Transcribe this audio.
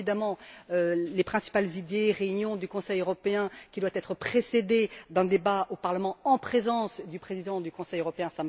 Bien évidemment, l'idée principale est que les réunions du Conseil européen doivent être précédées d'un débat au Parlement en présence du président du Conseil européen